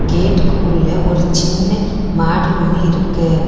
கேட்டுக்கு உள்ள ஒரு சின்ன மாடி ஒன்னு இருக்கு.